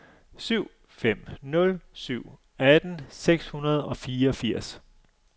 syv fem nul syv atten seks hundrede og fireogfirs